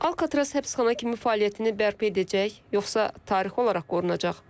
Alkatraz həbsxana kimi fəaliyyətini bərpa edəcək, yoxsa tarixi olaraq qorunacaq?